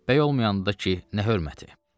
Bəy olmayanda da ki, nə hörməti.